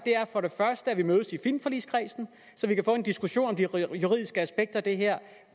at mødes i filmforligskredsen så vi kan få en diskussion om de juridiske aspekter af det her